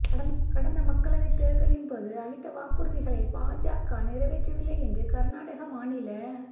கடந்த மக்களவைத் தேர்தலின்போது அளித்த வாக்குறுதிகளை பாஜக நிறைவேற்றவில்லை என்று கர்நாடக மாநில